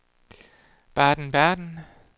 Baden-Baden